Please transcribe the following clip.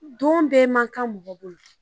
Don bɛ man kan mɔgɔ bolo.